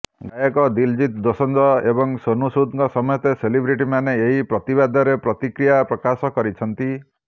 ଗାୟକ ଦିଲଜିତ୍ ଦୋସଞ୍ଜ ଏବଂ ସୋନୁ ସୁଦଙ୍କ ସମେତ ସେଲିବ୍ରେଟିମାନେ ଏହି ପ୍ରତିବାଦରେ ପ୍ରତିକ୍ରିୟା ପ୍ରକାଶ କରିଛନ୍ତି